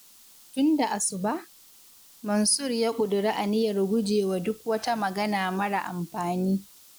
Tun da asuba, Mansur ya ƙudiri aniyar gujewa duk wata magana mara amfani.